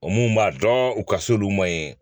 O mun b'a dɔn u ka s'olu ma ye